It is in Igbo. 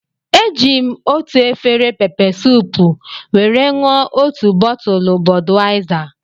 Eji m otu efere peppersoup were ṅụọ otu bọtụlu Bọdwaizar